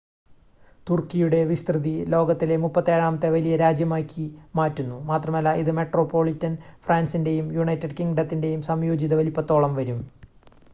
തുർക്കിയുടെ വിസ്‌തൃതി ലോകത്തിലെ 37-ാമത്തെ വലിയ രാജ്യമായി മാറ്റുന്നു മാത്രമല്ല ഇത് മെട്രോപൊളിറ്റൻ ഫ്രാൻസിൻ്റെയും യുണൈറ്റഡ് കിംഗ്ഡത്തിൻ്റെയും സംയോജിത വലുപ്പത്തോളം വരും